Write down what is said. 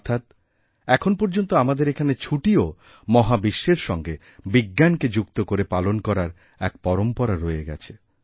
অর্থাৎ এখন পর্যন্ত আমাদের এখানে ছুটিও মহাবিশ্বের সঙ্গে বিজ্ঞানকে যুক্ত করে পালনকরার এক পরম্পরা রয়ে গেছে